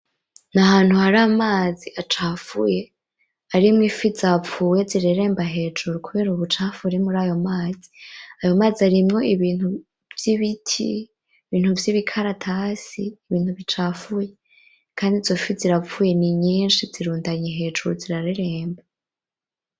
Ni ahantu hari amazi acafuye arimwo ifi zapfuye zireremba hejuru kubera ubucafu buri murayo mazi, ayo mazi arimwo ibintu vy'ibiti, ibintu vy'ibikaratasi, ibintu bicafuye kandi izo fi zirapfuye ni nyinshi zirundanye hejuru zirareremba.